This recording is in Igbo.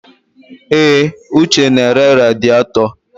Èé, Uche na-ere radịatọ.